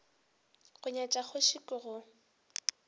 go nyatša kgoši ke go